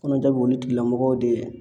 Kɔnɔja b'olu tigila mɔgɔw de